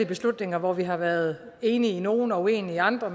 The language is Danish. beslutninger hvor vi har været enige i nogle og uenige i andre